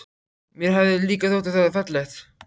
Mér hafði líka þótt það fallegt.